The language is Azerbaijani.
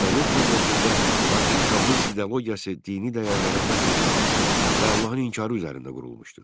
Sovet cəmiyyətində hakim kommunist ideologiyası dini dəyərlərin məhv edilməsi və Allahın inkarı üzərində qurulmuşdu.